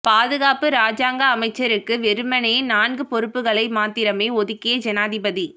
பாதுகாப்பு இராஜாங்க அமைச்சருக்கு வெறுமனே நான்கு பொறுப்புக்களை மாத்திரமே ஒதுக்கிய ஜனாதிபதி